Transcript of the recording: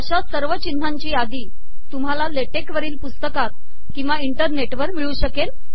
आशा सवर िचनहाची यादी तुमहाला लेटेक वरील पुसतकात िकवा इंटरनेटवर िमळू शकेल